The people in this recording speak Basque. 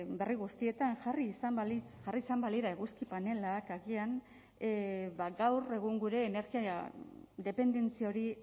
berri guztietan jarri izan balitz jarri izan balira eguzki panelak agian gaur egun gure energia dependentzia hori